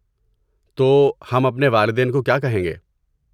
تو، ہم اپنے والدین کو کیا کہیں گے؟